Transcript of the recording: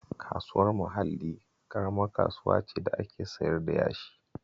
Kasuwar Mahalli ƙaramar kasuwa ce da ake siyar da yashi